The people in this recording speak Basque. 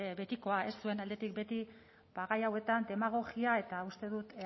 betikoa zuen aldetik beti gai hauetan demagogia eta uste dut